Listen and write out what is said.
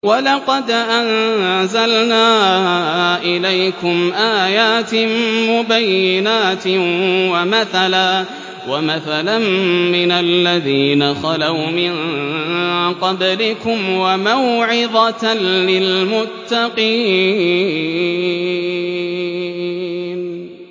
وَلَقَدْ أَنزَلْنَا إِلَيْكُمْ آيَاتٍ مُّبَيِّنَاتٍ وَمَثَلًا مِّنَ الَّذِينَ خَلَوْا مِن قَبْلِكُمْ وَمَوْعِظَةً لِّلْمُتَّقِينَ